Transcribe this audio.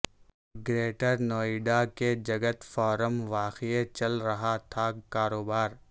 greater Noida کے Jagat farm واقع چل رہا تھا کاروبار